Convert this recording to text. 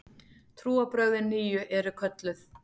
Trúarbrögðin nýju eru kölluð